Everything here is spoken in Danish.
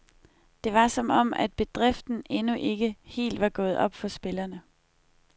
Det var som om, at bedriften endnu ikke helt var gået op for spillerne.